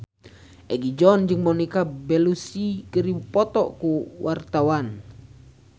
Egi John jeung Monica Belluci keur dipoto ku wartawan